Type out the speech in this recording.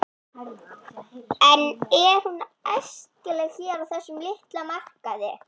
En er hún æskileg hér á þessum litla markaði?